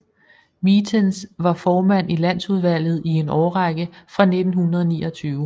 Mitens var formand i Landsudvalget i en årrække fra 1929